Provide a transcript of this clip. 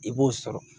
I b'o sɔrɔ